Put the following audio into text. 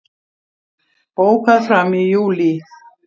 Bókað fram í júlí